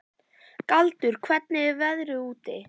Galdur, hvernig er veðrið úti?